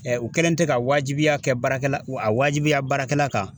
u kɛlen tɛ ka waajibiya kɛ baarakɛla a wajibiya baarakɛla kan